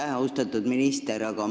Aitäh, austatud minister!